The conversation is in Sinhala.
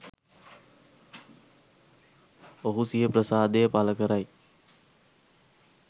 ඔහු සිය ප්‍රසාදය පළ කරයි